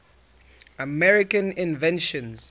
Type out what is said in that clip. american inventions